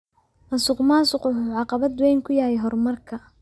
Musuqmaasuqu wuxuu caqabad weyn ku yahay horumarka.